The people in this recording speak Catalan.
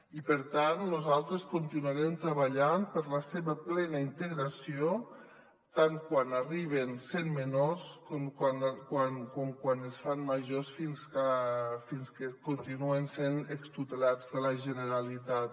i per tant nosaltres continuarem treballant per la seva plena integració tant quan arriben sent menors com quan es fan grans fins que continuen sent extutelats de la generalitat